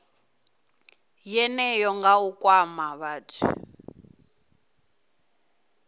yeneyo nga u kwama vhathu